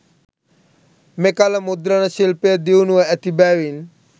මෙකල මුද්‍රණ ශිල්පය දියුණුව ඇති බැවින්